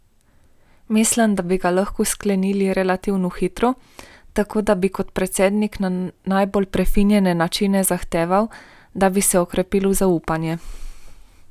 Mislim, da bi ga lahko sklenili relativno hitro, tako da bi kot predsednik na najbolj prefinjene načine zahteval, da bi se okrepilo zaupanje.